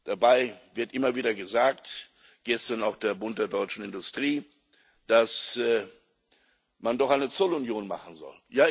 Dabei wird immer wieder gesagt gestern auch vom Bund der deutschen Industrie dass man doch eine Zollunion machen soll.